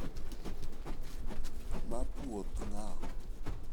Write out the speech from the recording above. Ma puodh ng'a?